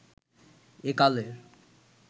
এ কালের